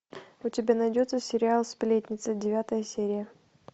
у тебя найдется сериал сплетница девятая серия